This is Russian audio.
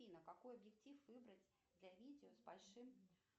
афина какой объектив выбрать для видео с большим